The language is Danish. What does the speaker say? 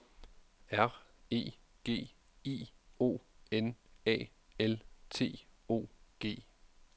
R E G I O N A L T O G